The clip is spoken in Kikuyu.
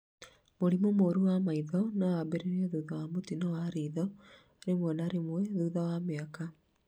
Mũrimũ mũrũ wa maitho no wambĩrĩrie thutha wa mũtino wa ritho, rimwe na rimwe thutha wa mĩaka